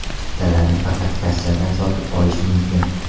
Chiptalarni faqat kassadan sotib olish mumkin.